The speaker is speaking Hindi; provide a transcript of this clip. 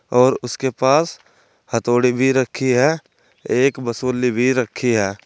और उसके पास हथौड़ी भी रखी है एक बसूली भी रखी है।